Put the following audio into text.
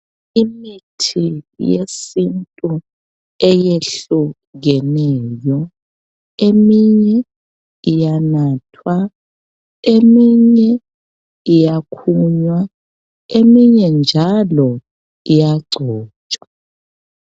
Imithi yesintu eyehlukeneyo, eminye iyanathwa, eminye iyakhunywa, eminye njalo iyagcotshwa.